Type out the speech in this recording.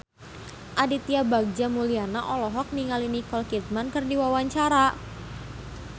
Aditya Bagja Mulyana olohok ningali Nicole Kidman keur diwawancara